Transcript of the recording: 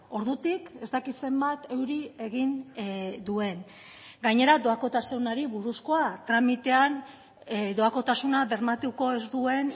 ordutik ez dakit zenbat euri egin duen gainera doakotasunari buruzkoa tramitean doakotasuna bermatuko ez duen